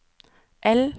L